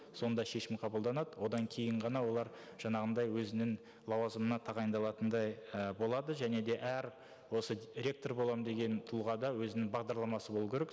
сонда шешім қабылданады одан кейін ғана олар жаңағындай өзінің лауазымына тағайындалатындай і болады және де әр осы ректор боламын деген тұлғада өзінің бағдарламасы болу керек